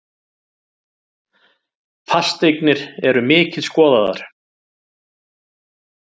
Fasteignir eru mikið skoðaðar